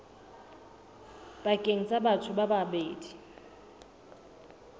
pakeng tsa batho ba babedi